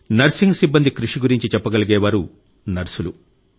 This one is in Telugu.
నర్సింగ్ సిబ్బంది కృషి గురించి చెప్పగలిగే వారు నర్సులు